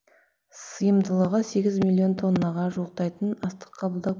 сыйымдылығы сегіз миллион тоннаға жуықтайтын астық қабылдау